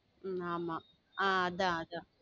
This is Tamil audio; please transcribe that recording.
உம் ஆமா ஆஹ் அதா அதா